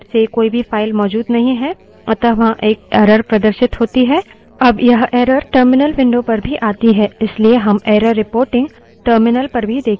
अब यह error terminal window पर भी आती है इसलिए हम error reporting terminal पर भी देखते हैं